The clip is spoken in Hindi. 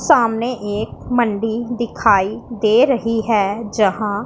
सामने एक मंडी दिखाई दे रही है जहां--